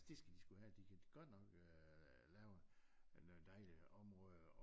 Det skal de sgu have de kan godt nok øh lave noget dejligt områder